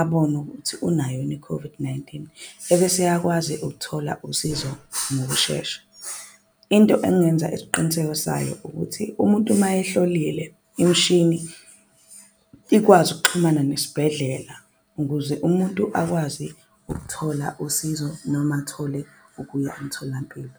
abone ukuthi unayo yini I-COVID-19 ebese eyakwazi ukuthola usizo ngokushesha. Into engenza isiqiniseko sayo ukuthi umuntu mayehlolile imshini ikwazi ukuxhumana nesibhedlela. Ukuze umuntu akwazi ukuthola usizo noma athole ukuya emtholampilo.